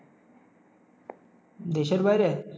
দেশের বাইরে?